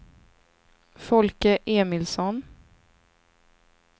Folke Emilsson